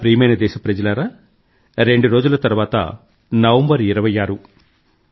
నా ప్రియమైన దేశప్రజలారా రెండు రోజుల తర్వాత నవంబర్ 26